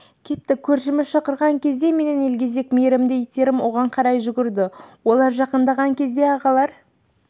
кетті көршіміз шақырған кезде менің елгезек мейірімді иттерім оған қарай жүгірді олар жақындаған кезде ағалар